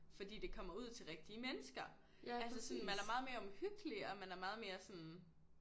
Fordi det kommer ud til rigtige mennesker altså sådan man er meget mere omhyggelig og man er meget mere sådan